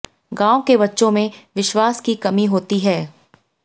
गांव के बच्चों में विश्वास की कमी होती है